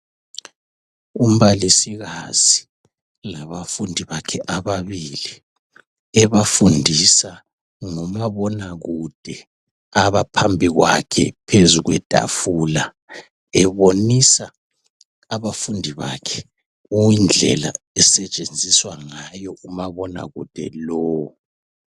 Umbalisikazi labafundi bakhe ababili ebafundisa ngomabonakude abaphambi kwakhe phezu kwetafula ebonisa abafundi bakhe indlela okusetshenziswa ngayo umabonakude lowu.